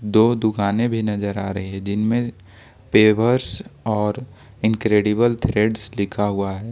दो दुकानें भी नजर आ रही है जिनमें पेवर्स और इनक्रेडिबल ट्रेड लिखा हुआ हैं।